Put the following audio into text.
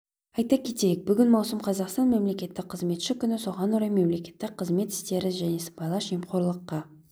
айта кетейік бүгін маусым қазақстан мемлекеттік қызметші күні соған орай мемлекеттік қызмет істері және сыбайлас жемқорлыққа